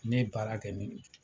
Ne ye baara kɛ ni o ye.